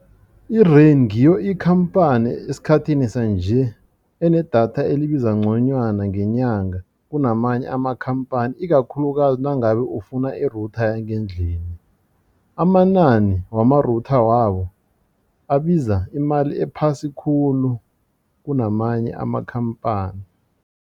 I-Rain ngiyo ikhamphani esikhathini sanje enedatha elibiza nconywana ngenyanga kunamanye amakhampani ikakhulukazi nangabe ufuna i-router yangendlini. Amanani wama-router wabo abiza imali ephasi khulu kunamanye amakhamphani.